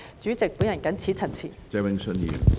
主席，我謹此陳辭。